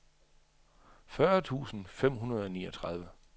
fyrre tusind fem hundrede og niogtredive